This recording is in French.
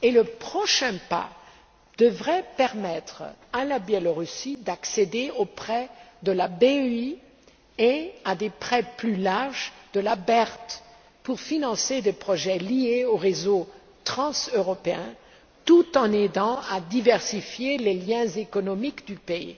Et la prochaine étape devrait permettre au Belarus d'accéder aux prêts de la BEI et à des prêts plus larges de la BERD pour financer des projets liés aux réseaux transeuropéens, tout en aidant à diversifier les liens économiques du pays.